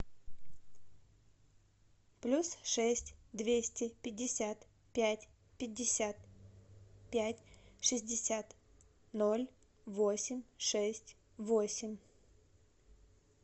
плюс шесть двести пятьдесят пять пятьдесят пять шестьдесят ноль восемь шесть восемь